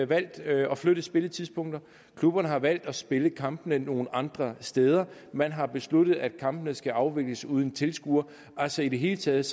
valgt at flytte spilletidspunkter klubberne har valgt at spille kampene nogle andre steder man har besluttet at kampene skal afvikles uden tilskuere altså i det hele taget